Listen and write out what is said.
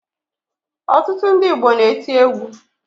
Ọtụtụ ndị Igbo na-eti egwu